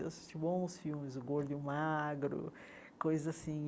Eu assisti bons filmes, o gordo e o magro, coisas assim.